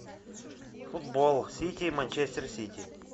футбол сити манчестер сити